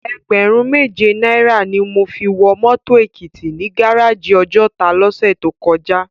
Ègbèrún méjé náirâ ni mó fi wò mòtó Ekiti ni gáráji Òjòtá lòsè tókòjá